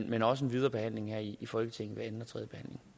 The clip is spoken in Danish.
men også en videre behandling her i folketinget ved anden